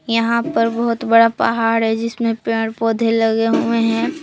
यहां पर बहुत बड़ा पहाड़ है जिसमें पेड़ पौधे लगे हुए हैं।